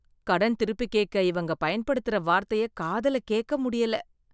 கடன் திருப்பி கேட்க இவங்க பயன்படுத்துற வார்த்தைய காதுல கேட்க முடியல.